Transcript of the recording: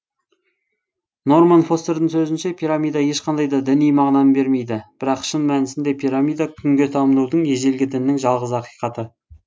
норман фостердің сөзінше пирамида ешқандай да діни мағынаны бермейді бірақ шын мәнісінде пирамида күнге табынудың ежелгі діннің жалғыз ақиқаты